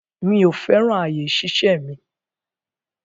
Mi ò fẹ́ràn àyè ìṣiṣẹ́ mi.